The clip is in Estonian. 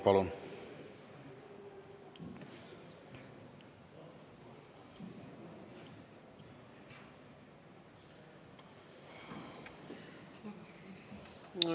Palun!